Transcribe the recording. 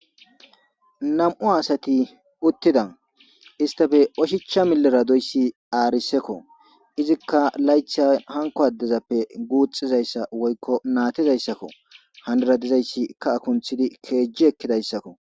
nam7u asati uttida istafe oshicha miliradoyssi aarisekko izikka laytha hanko addezappe guuxxizayssa woykko naatizayssakko handaradizayssi ka akunthidi keejji ekkidayssakko